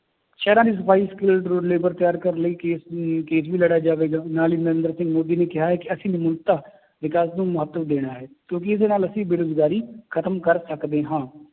ਸ਼ਹਿਰਾਂ ਦੀ ਸਫ਼ਾਈ skilled labor ਤਿਆਰ ਕਰਨ ਲਈ case ਅਮ case ਵੀ ਲੜਿਆ ਜਾਵੇਗਾ ਨਾਲ ਹੀ ਨਿਰੇਂਦਰ ਸਿੰਘ ਮੋਦੀ ਨੇ ਕਿਹਾ ਹੈ ਕਿ ਅਸੀਂ ਵਿਕਾਸ ਨੂੰ ਮਹੱਤਵ ਦੇਣਾ ਹੈ ਕਿਉਂਕਿ ਇਹਦੇ ਨਾਲ ਅਸੀਂ ਬੇਰੁਜ਼ਗਾਰੀ ਖਤਮ ਕਰ ਸਕਦੇ ਹਾਂ